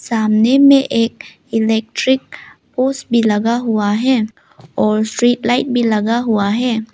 सामने में एक इलेक्ट्रिक पोस भी लगा हुआ है और स्ट्रीट लाइट भी लगा हुआ है।